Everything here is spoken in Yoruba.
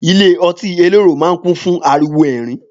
Ilé ọtí elérò máa ń kùn fún ariwo ẹ̀rín